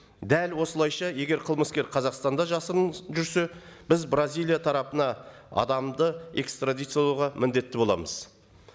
дәл осылайша егер қызмыскер қазақстанда жасырын жүрсе біз бразилия тарапына адамды экстрадициялауға міндетті боламыз